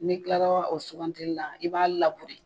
N'i kilara o sugantili la i b'a laburere